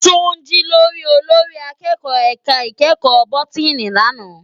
Tunji lò rí ólórì àkèkò èká ikèékò bótìní làná